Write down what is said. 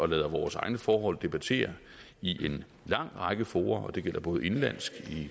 lader vores egne forhold debattere i en lang række fora og det gælder både indenlands